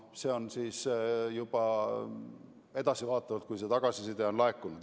See selgub juba edaspidi, kui tagasiside on laekunud.